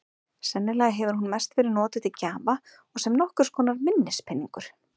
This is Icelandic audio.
Sennilega hefur hún mest verið notuð til gjafa og sem nokkurs konar minnispeningur.